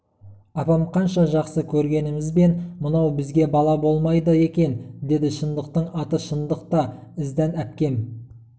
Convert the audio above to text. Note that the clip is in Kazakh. апам қанша жақсы көргенімізбен мынау бізге бала болмайды екен деді шындықтың аты шындық та іздән әпкем